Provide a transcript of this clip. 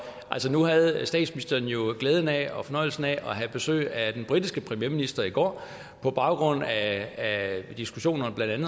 nu havde statsministeren jo glæden af og fornøjelsen af at have besøg af den britiske premierminister i går på baggrund af diskussionerne